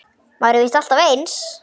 Maður er víst alltaf eins!